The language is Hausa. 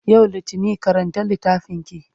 yau littani karanta littafinki!